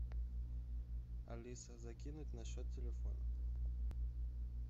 алиса закинуть на счет телефона